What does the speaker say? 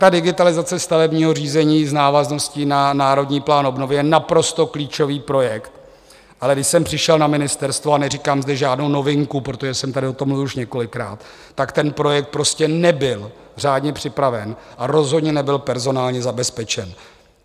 Ta digitalizace stavebního řízení s návazností na Národní plán obnovy je naprosto klíčový projekt, ale když jsem přišel na ministerstvo, a neříkám zde žádnou novinku, protože jsem tady o tom mluvil už několikrát, tak ten projekt prostě nebyl řádně připraven a rozhodně nebyl personálně zabezpečen.